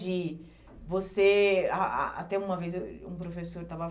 De você... A a até uma vez eu tinha um professor estava